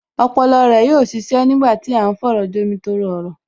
Ọpọlọ rẹ yóò ṣiṣẹ́ nígbà tí à ń fọ̀rọ̀jomi-tooro-ọ̀rọ̀